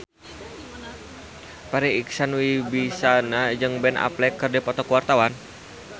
Farri Icksan Wibisana jeung Ben Affleck keur dipoto ku wartawan